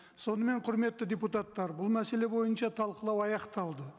сонымен құрметті депутаттар бұл мәселе бойынша талқылау аяқталды